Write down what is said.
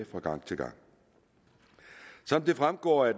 fra gang til gang som det fremgår af